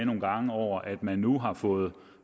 nogle gange over at man nu har fået